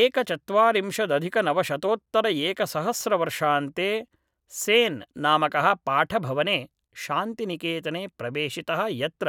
एकचत्वारिंशदधिकनवशतोत्तरएकसहस्रवर्षान्ते सेन् नामकः पाठभवने शान्तिनिकेतने प्रवेशितः यत्र